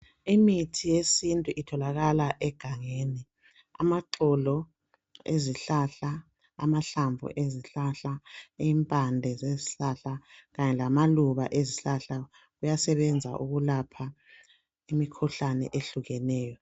Imithi yesintu itholakala egangeni. Amaxolo ezihlahla, amahlamvu ezihlahla, impande zezihlahla kanye lamaluba ezihlahla kuyasebenza ukulapha imikhuhlane eyehlukeneyo.